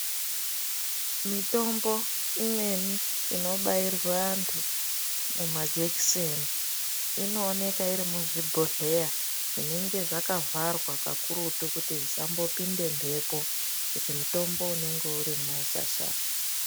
Mitombo imweni inobairwa antu mumajekiseni inooneka iri muzvibhohleya zvinenge zvakavharwa kakurutu kuti zvisambopinde mhepo kuti mutombo unenge urimwo usashata.